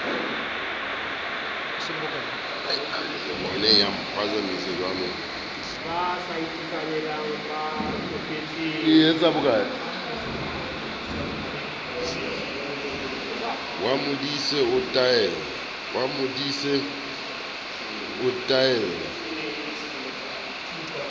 wa modise o a tella